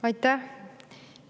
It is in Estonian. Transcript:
Aitäh!